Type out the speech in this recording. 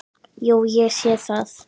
Jú, ég sé það.